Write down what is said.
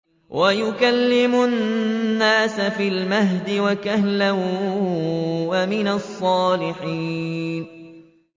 وَيُكَلِّمُ النَّاسَ فِي الْمَهْدِ وَكَهْلًا وَمِنَ الصَّالِحِينَ